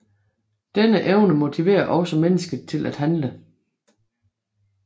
Denne evne motiverer også mennesket til at handle